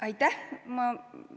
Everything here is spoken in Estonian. Aitäh!